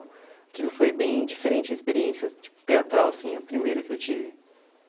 Aquilo foi bem diferente, a experiência tipo teatral, assim, a primeira que eu tive.